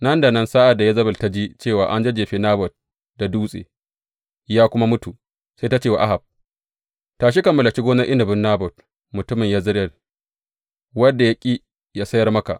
Nan da nan sa’ad da Yezebel ta ji cewa an jajjefe Nabot da dutse ya kuma mutu, sai ta ce wa Ahab, Tashi ka mallaki gonar inabin Nabot mutumin Yezireyel wanda ya ƙi ya sayar maka.